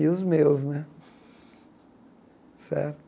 E os meus né, certo?